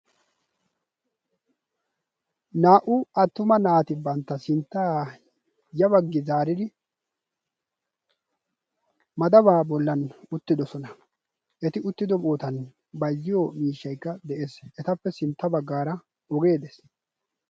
naa77u attuma naati bantta sinttaa ya baggi zaariri madabaa bollan uttidosona. eti uttido ootan bazziyo miishshaigga de7ees. etappe sintta baggaara ogee dees.